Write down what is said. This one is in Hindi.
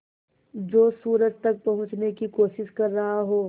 जो सूरज तक पहुँचने की कोशिश कर रहा हो